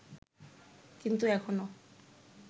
কিন্তু এখনো